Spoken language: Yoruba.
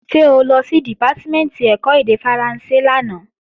Ṣé o lọ sí Dìpátímẹ̀ntì ẹ̀kọ́ èdè Faransé lánàá?